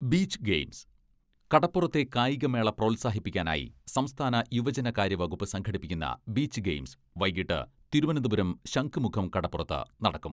Beach games കടപ്പുറത്തെ കായിക മേള പ്രോത്സാഹിപ്പിക്കാനായി സംസ്ഥാന യുവജനകാര്യ വകുപ്പ് സംഘടിപ്പിക്കുന്ന ബീച്ച് ഗെയിംസ് വൈകിട്ട് തിരുവനന്തപുരം ശംഖുമുഖം കടപ്പുറത്ത് നടക്കും.